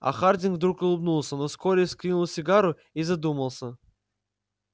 а хардин вдруг улыбнулся но вскоре выкинул сигару и задумался